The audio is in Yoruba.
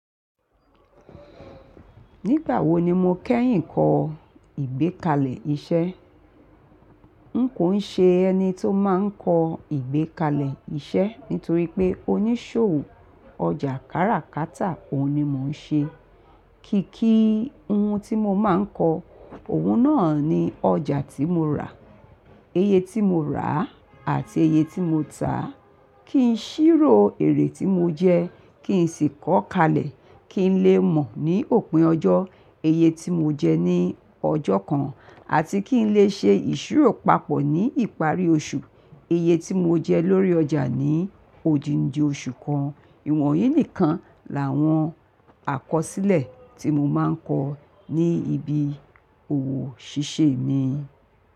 Nígbà wo ni mo kẹ́yìn kọ ìgbékalẹ̀ iṣẹ́? N kò ṣe ẹni tí ó máa ń kọ ìgbékalẹ̀ iṣẹ́ nítorí pé oníṣòwò ọjà káràkátà òun ni mo ń ṣe. Kìkì ohun tí mo máa ń kọ, òun náà ni ọjà tí mo rà, iye tí mo rà àti iye tí mo tá, kí n ṣírò èrè tí mo jẹ, kí n sì kọ kalẹ̀ kí n lè mọ̀ ní òpin ọjọ́, iye tí mo jẹ ní ọjọ́ kan àti kí n lè ṣe ìṣírò papọ̀ ní ìparí oṣù, iye tí mo jẹ lórí ọjà ní òdìndì oṣù kan. Ìwọ̀nyí nìkan làwọn àkọsílẹ̀ tí mo máa ń kọ ní ibi òwò ṣíṣe mi.